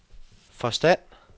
forstand